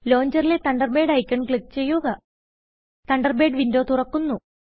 ലോഞ്ചറിലെThunderbird icon click ചെയ്യുക Thunderbird windowതുറക്കുന്നു